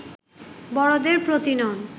বড়দের প্রতি নন